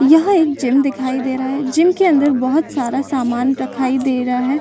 यहां एक जिम दिखाई दे रहा है जिम के अंदर बहुत सारा समान रखाई दे रहा है।